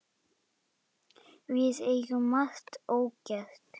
Við eigum margt ógert.